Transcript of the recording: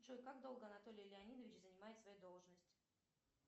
джой как долго анатолий леонидович занимает свою должность